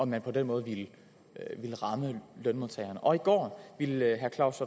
man på den måde ville ramme lønmodtagerne og i går ville herre claus